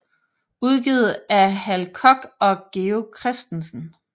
Udgivet af Hal Koch og Georg Christensen